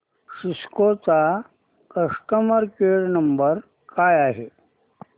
Cisco चा customer care number काय आहे